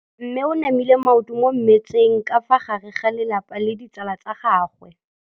Mme o namile maoto mo mmetseng ka fa gare ga lelapa le ditsala tsa gagwe.